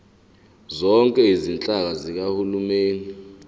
zonke izinhlaka zikahulumeni